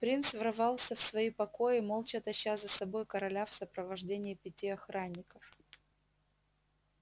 принц ворвался в свои покои молча таща за собой короля в сопровождении пяти охранников